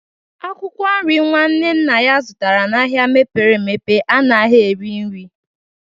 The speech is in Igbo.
Akwụkwọ nri nwanne nna ya zụtara n'ahịa mepere emepe anaghị eri nri